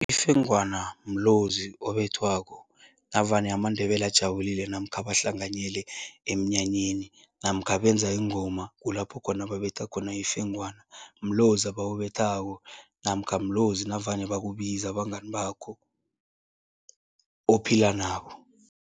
Ifengwana mlozi obethwako navane amaNdebele ajabulile namkha bahlanganyele emnyanyeni namkha benza iingoma, kulapho khona babetha khona ifengwana. Mlozi abawubethako namkha mlozi navane bakubiza abangani bakho ophila nabo.